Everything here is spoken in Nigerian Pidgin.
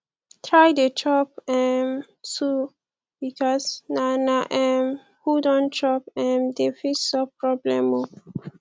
try dey chop um too bikos na na um who don chop um dey fit solve problem o